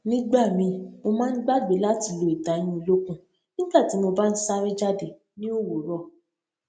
nígbà míì mo máa ń gbàgbé láti lo ìtayín olókùn nígbà tí mo bá ń sáré jáde ní òwúrò